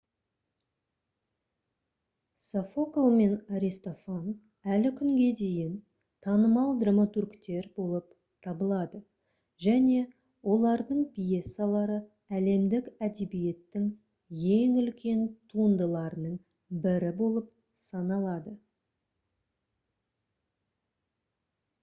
софокл мен аристофан әлі күнге дейін танымал драматургтер болып табылады және олардың пьесалары әлемдік әдебиеттің ең үлкен туындыларының бірі болып саналады